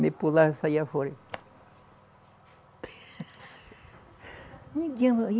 Me pulava e saía fora.